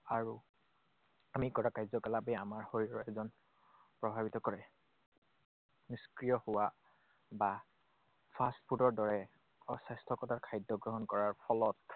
আৰু আমি কৰা কাৰ্যকলাপেই আমাৰ শৰীৰৰ ওজন প্ৰভাৱিত কৰে। নিষ্ক্ৰিয় হোৱা বা fast food ৰ দৰে অস্বাস্থ্যকৰ খাদ্য গ্ৰহণ কৰাৰ ফলত